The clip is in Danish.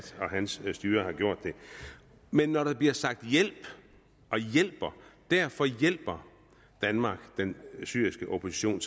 og hans styre har gjort men når der bliver sagt hjælp og hjælper derfor hjælper danmark den syriske opposition